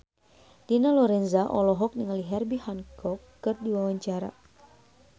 Dina Lorenza olohok ningali Herbie Hancock keur diwawancara